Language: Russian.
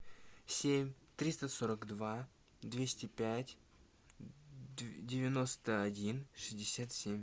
семь триста сорок два двести пять девяносто один шестьдесят семь